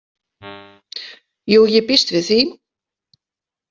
Jú, ég býst við því.